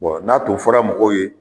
n'a tun fɔra mɔgɔw ye